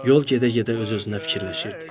Yol gedə-gedə öz-özünə fikirləşirdi.